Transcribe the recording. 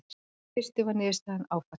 Í fyrstu var niðurstaðan áfall.